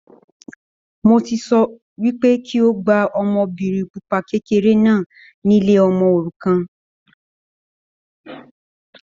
Mo ti sọ wípé kí o gba ọmọbìnrin pupa kékeré náà ni ilé ọmọ òrukàn